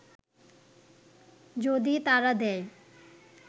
যদি তারা দেয়